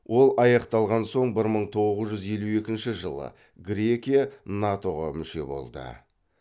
ол аяқталған соң бір мың тоғыз жүз елу екінші жылы грекия нато ға мүше болды